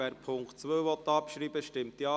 Wer den Punkt 2 abschreiben will, stimmt Ja,